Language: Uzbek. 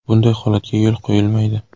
Bunday holatga yo‘l qo‘yilmaydi.